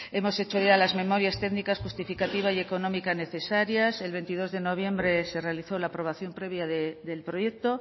hemos hecho ya las memorias técnicas justificativa y económica necesarias el veintidós de noviembre se realizó la aprobación previa del proyecto